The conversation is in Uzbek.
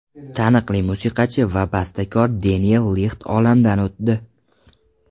Taniqli musiqachi va bastakor Deniel Lixt olamdan o‘tdi.